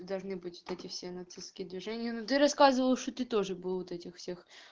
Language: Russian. и должны быть вот эти все нацистские движения но ты рассказывал что ты тоже был у вот этих всех